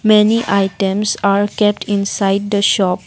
many items are kept inside the shop.